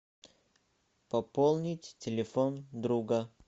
пополнить телефон друга